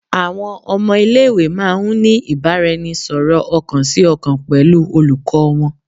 Awọn ọmọ ile-iwe máà ń ní ìbáraẹnisọ̀rọ̀ ọkàn si ọkàn pẹlú olùkọ́ wọn.